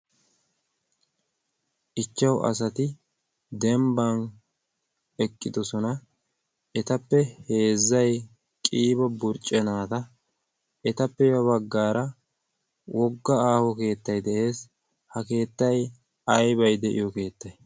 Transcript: ichchau asati dembbang eqqidosona. etappe heezzay qiibo burccenaada etappe ya baggaara wogga aaho keettay de'ees .ha keettai aybay de'iyo keettay